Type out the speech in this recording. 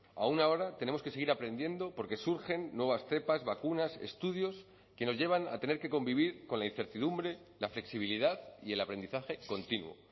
aún ahora tenemos que seguir aprendiendo porque surgen nuevas cepas vacunas estudios que nos llevan a tener que convivir con la incertidumbre la flexibilidad y el aprendizaje continuo